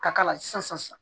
Ka k'a la sisan